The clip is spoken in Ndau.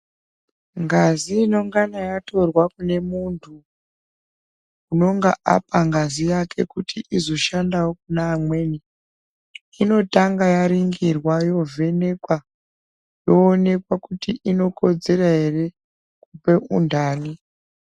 Ngazi inongana yatorwa mune muntu unenge apa ngazi yake kuti izoshandawo kune amweni inotanga yaringirwa yovhenekwa woonekwa inokodzera here kupa undani